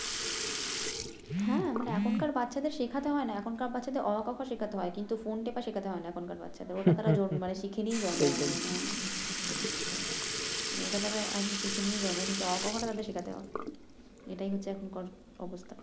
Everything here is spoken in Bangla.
হ্যাঁ মানে এখনকার বাচ্চাদের শেখাতে হয় না এখনকার বাচ্চাদের অ আ ক খ শেখাতে হয় কিন্তু ফোন টেপা শেখাতে হয় না এখনকার বাচ্চাদের ওটা তারা শিখে নিয়েই জন্মায় আমার মনে হয় মানে ওটা তারা আগে শিখে নিয়েই জন্মায় কিন্তু অ আ ক খ টা তাদের শিখাতে হবে এটাই হচ্ছে এখনকার অবস্থা